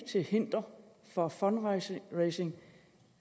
til hinder for fundraising